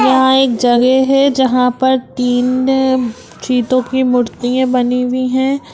यहां एक जगह है जहां पर तीन चितो की मूर्तिए बनी हुई है।